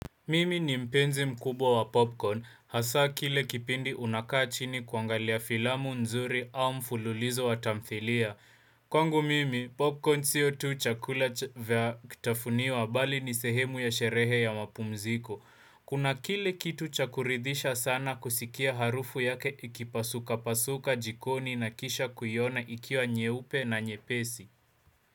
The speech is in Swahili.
Mimi ni mpenzi mkubwa wa popcorn, hasaa kile kipindi unakaa chini kuangalia filamu nzuri au mfululizo wa tamthilia. Kwangu mimi, popcorn sio tu chakula vya kutafuniwa bali ni sehemu ya sherehe ya mapumziko. Kuna kile kitu cha kuridisha sana kusikia harufu yake ikipasuka pasuka jikoni na kisha kuiona ikiwa nyeupe na nyepesi.